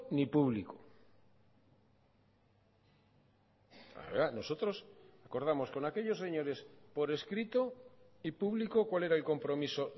ni público nosotros acordamos con aquellos señores por escrito y público cuál era el compromiso